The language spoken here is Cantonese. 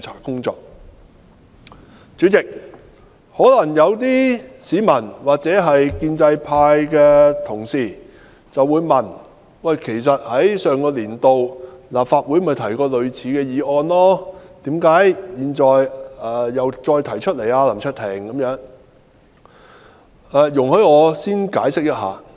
代理主席，有市民或建制派的同事或會質疑，類似的議案曾於立法會上一年度的會議提出，何以現時再次提出，所以容許我先略作解釋。